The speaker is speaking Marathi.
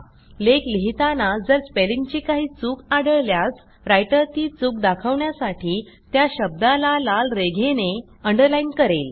लेख लिहिताना जर स्पेलिंगची काही चूक आढळल्यास रायटर ती चूक दाखवण्यासाठी त्या शब्दाला लाल रेघेने अंडरलाईन करेल